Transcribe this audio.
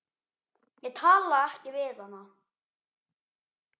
Ég talaði ekki við hana.